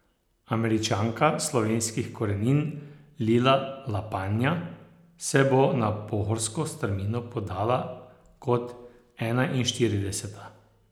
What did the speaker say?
Američanka slovenskih korenin Lila Lapanja se bo na pohorsko strmino podala kot enainštirideseta.